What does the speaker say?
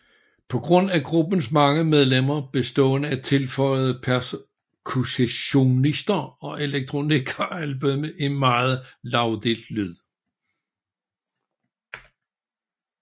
På grund af gruppens mange medlemmer bestående af tilføjede percussionister og elektronik har albummet en meget lagdelt lyd